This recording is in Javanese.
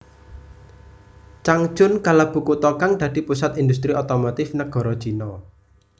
Changchun kalebu kutha kang dadi pusat industri otomotif nagara Cina